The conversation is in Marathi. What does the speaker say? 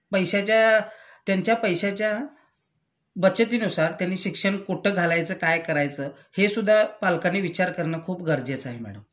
पैश्याच्या त्यांच्या पैशाच्या बचतीनुसार त्यांनी शिक्षण कुठं घालायचं काय करायचं हे सुद्धा पालकांनी विचार करण खूप गरजेचं आहे मॅडम